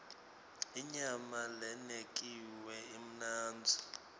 inyama lenekiwe imnandzi